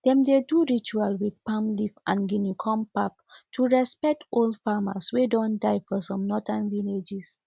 dem dey do ritual with palm leaf and guinea corn pap to respect old farmers way don die for some northern villages